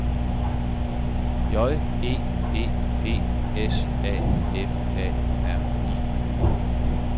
J E E P S A F A R I